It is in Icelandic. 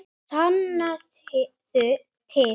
Sannaðu til.